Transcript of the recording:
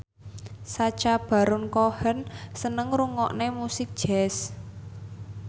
Sacha Baron Cohen seneng ngrungokne musik jazz